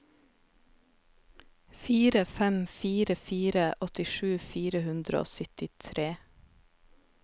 fire fem fire fire åttisju fire hundre og syttitre